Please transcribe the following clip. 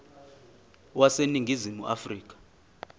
wase ningizimu afrika